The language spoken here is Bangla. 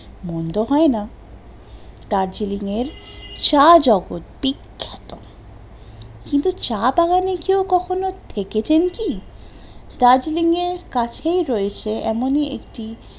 মন্দ হয়না, দার্জেলিং এর চা জগৎ বিখ্যাত, কিন্তু চা বাগানে কেউ কখনো থেকেছেন কি? দার্জেলিং এর কাছেই রয়েছে এমন ই একটি